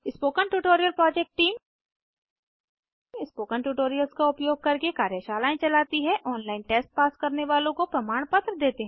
spoken tutorial project team spoken tutorials का उपयोग करके कार्यशालाएं चलती है ऑनलाइन टेस्ट पास करने वालों को प्रमाणपत्र देते हैं